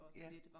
Ja